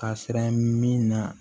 Ka siran min na